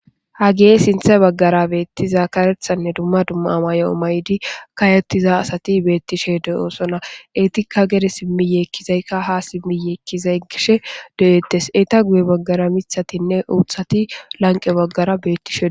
ha geye sinthe baggara beettiza karethanne dumma dumma amayo7o maydi kayettiza asati beettishe de oosona etika gere simmi yeekkizaykka ha simmi yeekkizay gishe de7eettes eta guye baggara mithatinne uuthati lanqe baggara bettishe